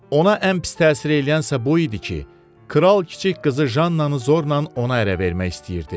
Ona ən pis təsir eləyən isə bu idi ki, kral kiçik qızı Jannanı zorla ona ərə vermək istəyirdi.